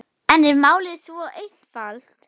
En er málið svo einfalt?